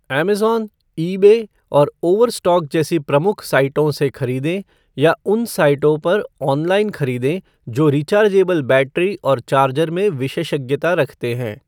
Amazon, eBay और Overstock जैसी प्रमुख साइटों से खरीदें या उन साइटों पर ऑनलाइन खरीदें जो रिचार्जेबल बैटरी और चार्जर में विशेषज्ञता रखते हैं।